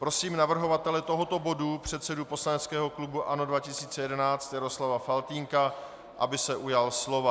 Prosím navrhovatele tohoto bodu, předsedu poslaneckého klubu ANO 2011 Jaroslava Faltýnka, aby se ujal slova.